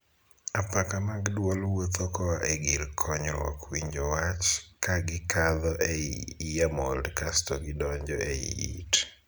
Apaka mag dwol wuotho koa e gir konyruok winjo wach, ka gikadho ei 'earmold', kasto gidonjo ei it.